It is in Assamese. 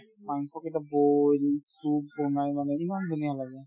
মাংস কেইটা boil soup বনাই মানে ইমান ধুনীয়া লাগে